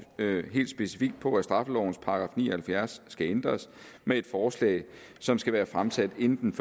helt specifikt på at straffelovens § ni og halvfjerds skal ændres med et forslag som skal være fremsat inden den